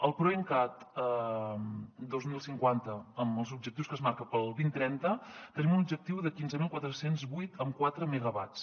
el proencat dos mil cinquanta amb els objectius que es marca per al dos mil trenta tenim un objectiu de quinze mil quatre cents i vuit coma quatre megawatts